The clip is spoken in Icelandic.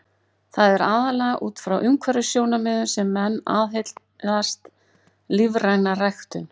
Það er aðallega út frá umhverfissjónarmiðum sem menn aðhyllast lífræna ræktun.